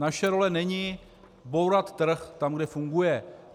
Naše role není bourat trh tam, kde funguje.